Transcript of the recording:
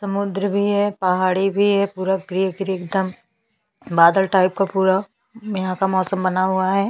समुद्र भी है पहाड़ी भी है पूरा बादल टाइप का पूरा यहाँ का मौसम बना हुआ है।